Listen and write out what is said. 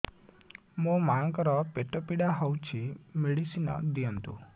ମୋ ମାଆଙ୍କର ପେଟ ପୀଡା ହଉଛି ମେଡିସିନ ଦିଅନ୍ତୁ